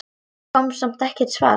Það kom samt ekkert svar.